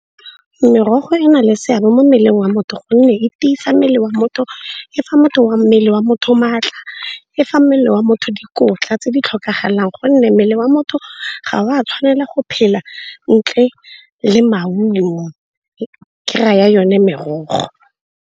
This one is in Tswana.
Merogo e na le seabe mo mmeleng wa motho gonne e tiisa mmele wa motho, e fa wa mmele wa motho maatla, e fa mmele wa motho dikotla tse di tlhokagalang gonne mmele wa motho ga wa tshwanela go phela ntle le maungo, ke raya yone merogo.